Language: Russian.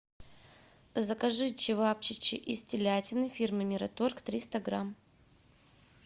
закажи чевапчичи из телятины фирмы мираторг триста грамм